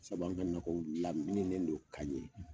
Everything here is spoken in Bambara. Sabu an ka nakɔw lamininen do ka ɲɛ.